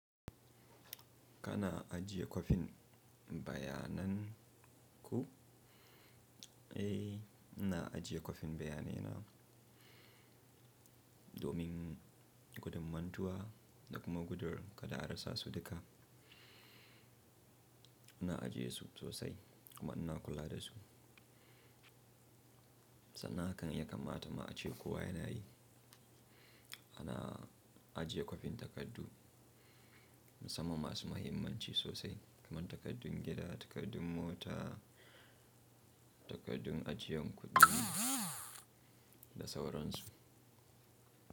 Kana ajiye kwafin bayanan ku? Eh, ina ajiye kwafin bayanai na domin gudun mantuwa da kuma gudur kada a rasa su duka. Ina ajiye su sosai kuma ina kula da su. Sannan hakan ya kamata ma ace ko wa yanayi. Ana ajiye kwafin takardu musamman masu mahimmanci sosai kamar takardun gida, takardun mota, takardun ajiyan kuɗi da sauransu.